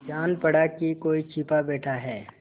जान पड़ा कि कोई छिपा बैठा है